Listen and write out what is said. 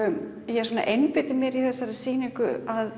ég einbeiti mér í þessari sýningu að